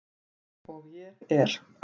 Og ég er.